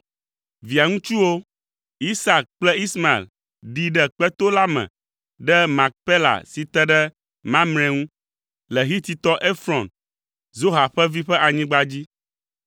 Via ŋutsuwo, Isak kple Ismael, ɖii ɖe kpeto la me le Makpela si te ɖe Mamre ŋu, le Hititɔ Efron, Zoha ƒe vi ƒe anyigba dzi.